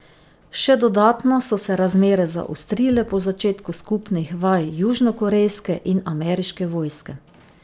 Še dodatno so se razmere zaostrile po začetku skupnih vaj južnokorejske in ameriške vojske.